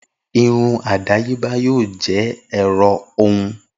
Irun adayeba yoo jẹ ẹrọ hun